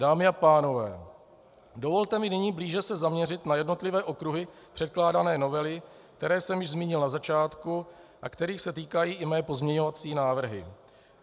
Dámy a pánové, dovolte mi nyní blíže se zaměřit na jednotlivé okruhy předkládané novely, které jsem již zmínil na začátku a kterých se týkají i mé pozměňovací návrhy.